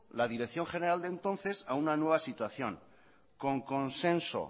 la dirección general de entonces a una nueva situación con consenso